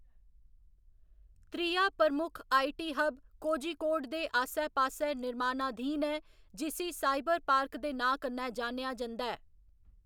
त्रिया प्रमुख IT hub Kozhikode दे आस्सै पास्सै निर्माणाधीन ऐ जिसी साइबरपार्क दे नांऽ कन्नै जानेआ जंदा ऐ।